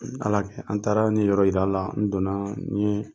Ala a kɛ an taara ne yɔrɔ yir' a la, n donna nin